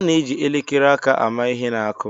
A na-eji elekere aka ama ihe na-akụ.